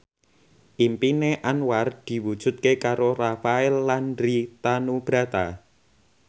impine Anwar diwujudke karo Rafael Landry Tanubrata